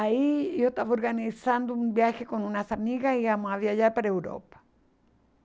Aí eu estava organizando um viagem com umas amigas e íamos viajar para a Europa.